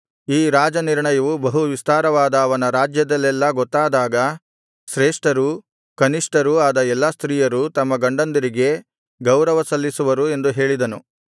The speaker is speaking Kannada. ಈ ರಾಜನಿರ್ಣಯವು ಬಹು ವಿಸ್ತಾರವಾದ ಅವನ ರಾಜ್ಯದಲ್ಲೆಲ್ಲಾ ಗೊತ್ತಾದಾಗ ಶ್ರೇಷ್ಠರೂ ಕನಿಷ್ಠರೂ ಆದ ಎಲ್ಲಾ ಸ್ತ್ರೀಯರು ತಮ್ಮ ಗಂಡಂದಿರಿಗೆ ಗೌರವ ಸಲ್ಲಿಸುವರು ಎಂದು ಹೇಳಿದನು